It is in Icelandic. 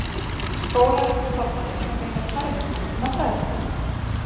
Skólar eru stofnanir sem veita kerfisbundna fræðslu.